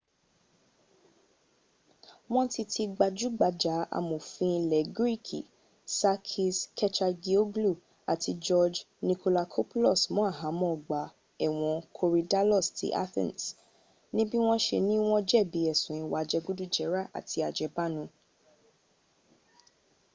wọ́n ti ti gbajúgbajà amòfin ilẹ greek sakis kechagioglou àti george nikolakopoulos mọ́ àhámọ́ ọgbà ẹ̀wọ̀n korydallus ti athens níbí wọ́n se ní wọ́n jẹ̀bi ẹ̀sùn ìwà jẹgúdújẹrá àti àjẹbánu